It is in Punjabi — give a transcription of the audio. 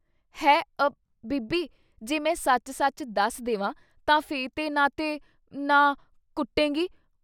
ਹੈ...... ਅ....... ਬੀਬੀ ! ਜੇ ਮੈਂ ਸੱਚ ਸੱਚ ਦੱਸ ਦੇਵਾਂ ਤਾਂ ਫੇ' ਤੇ ਨਾ ਤੇ...... ਨਾ...... ਕੁੱਟੇਂਗੀ।